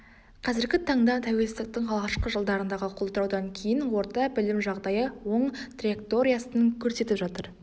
қазіргі таңда тәуелсіздіктің алғашқы жылдарындағы құлдыраудан кейін орта білім жағдайы оң траекториясын көрсетіп жатыр